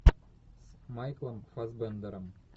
с майклом фасбендером